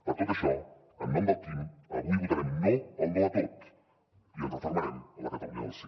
per tot això en nom del quim avui votarem no al no a tot i ens refermarem en la catalunya del sí